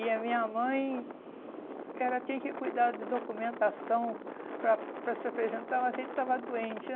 E a minha mãe ela tinha que cuidar do documentação para para se apresentar, mas ele estava doente.